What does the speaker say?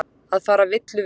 Að fara villu vegar